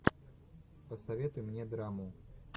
посоветуй мне драму